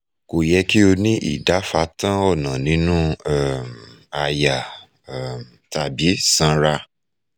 ko yẹ kí ó ni idáfatán ọ̀nà nínú um àyà um tàbí sanra